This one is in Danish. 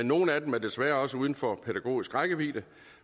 nogle af dem er desværre også uden for pædagogisk rækkevidde